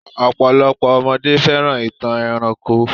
Ọ̀pọ̀lopọ̀ ọmọdé fẹ́ràn ìtàn ẹranko.